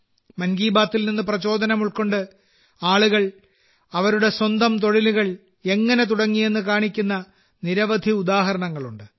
മൻ കി ബാത്തിൽ നിന്ന് പ്രചോദനം ഉൾക്കൊണ്ട് ആളുകൾ അവരുടെ സ്വന്തം തൊഴിലുകൾ എങ്ങനെ തുടങ്ങിയെന്ന് കാണിക്കുന്ന നിരവധി ഉദാഹരണങ്ങളുണ്ട്